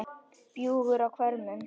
bjúgur á hvörmum